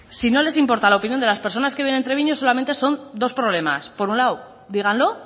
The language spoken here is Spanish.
si no les importa la opinión de las personas que viven en treviño solamente son dos problemas por un lado díganlo